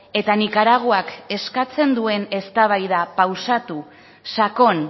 eta nikaraguak eskatzen duen eztabaida pausatu sakon